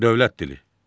Dövlət dili.